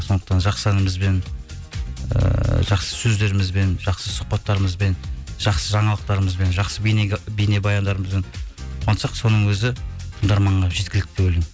сондықтан жақсы әнімізбен ыыы жақсы сөздерімізбен жақсы сұхбаттарымызбен жақсы жаңалықтарымызбен жақсы бейнебаяндарымызбен қуантсақ соның өзі тыңдарманға жеткілікті деп ойлаймын